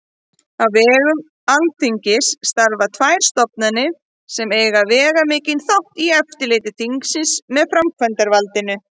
Á vegum Alþingis starfa tvær stofnanir sem eiga veigamikinn þátt í eftirliti þingsins með framkvæmdarvaldinu.